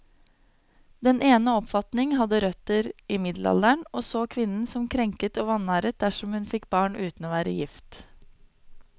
Den ene oppfatningen hadde røtter i middelalderen, og så kvinnen som krenket og vanæret dersom hun fikk barn uten å være gift.